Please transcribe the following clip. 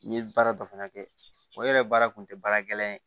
N ye baara dɔ fana kɛ o yɛrɛ baara kun tɛ baara gɛlɛn ye